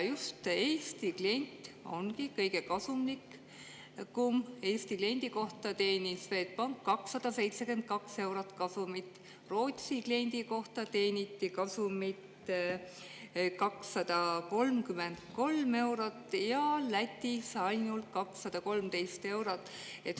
Just Eesti klient ongi kõige kasumlikum: Eesti kliendi kohta teenis Swedbank kasumit 272 eurot, Rootsi kliendi kohta teeniti kasumit 233 eurot ja Lätis ainult 213 eurot.